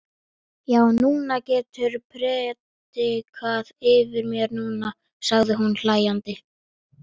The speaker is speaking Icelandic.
Já, þú getur prédikað yfir mér núna, sagði hún hlæjandi.